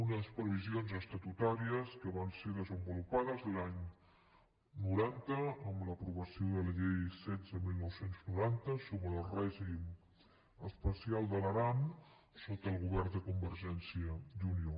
unes previsions estatutàries que van ser desenvolupades l’any noranta amb l’aprovació de la llei setze dinou noranta sobre el règim especial de l’aran sota el govern de convergència i unió